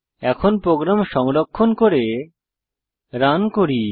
এখন প্রোগ্রাম সংরক্ষণ করে রান করি